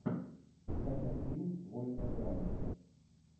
скачай фильм вольная грамота